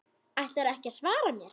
Ætlarðu ekki að svara mér?